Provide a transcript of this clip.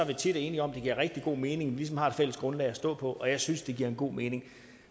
tit enige om at det giver rigtig god mening ligesom har et fælles grundlag at stå på og jeg synes at det giver en god mening